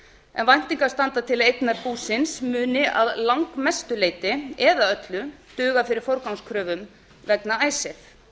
en væntingar standa til að eignir búsins muni að langmestu leyti eða öllu duga fyrir forgangskröfum vegna icesave það